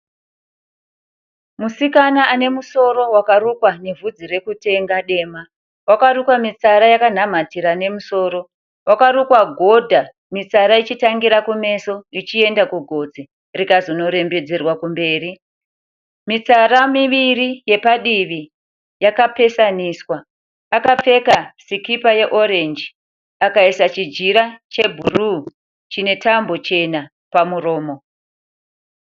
Musikana ane musoro wakarukwa nevhudzi rekutenga dema. Wakarukwa mitsara yakanamatira nemusoro. Wakarukwa godha mitsara ichitangira kumeso ichienda kugotsi rikazonorembedzerwa kumberi. Mitsara miviri yepadivi yakapesaniswa. Akapfeka sikipa yeorenji akaisa chijira chebhuruu chine tambo chena pamuromo.